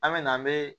An me na an be